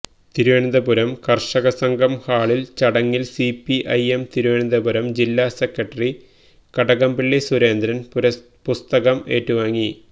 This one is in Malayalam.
തിരുവനന്തപുരം കര്ഷകസംഘം ഹാളില് നടന്ന ചടങ്ങില് സിപിഐഎം തിരുവനന്തപുരം ജില്ലാ സെക്രട്ടറി കടകംപള്ളി സുരേന്ദ്രന് പുസ്തകം ഏറ്റുവാങ്ങി